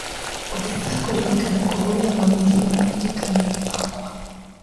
Ongerera kuririkana kũhũrĩra mami thimũ maririkanio-inĩ makwa.